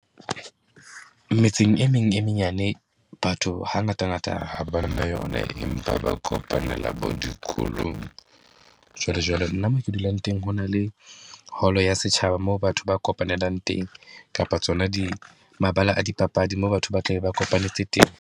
Metseng e meng e menyane, batho hangatangata ha ba na yona, empa ba kopanela bo dikolong. Jwale jwale nna mo ke dulang teng, ho na le hall-o ya setjhaba moo batho ba kopanelang teng kapa tsona di mabala a dipapadi moo batho ba tlabe ba kopanyetse teng.